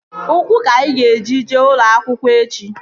Ụkwụ ka ị ga-eji jee ụlọ akwụkwọ echi!